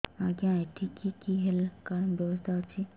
ଆଜ୍ଞା ଏଠି କି କି ହେଲ୍ଥ କାର୍ଡ ବ୍ୟବସ୍ଥା ଅଛି